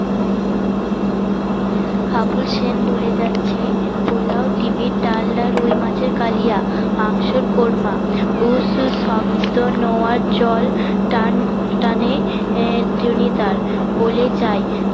হাবু সেন বলে যাচ্ছে পোলাও ডিমের ডালনা রুই মাছের কালিয়া মাংসর কোরমা বলে যাই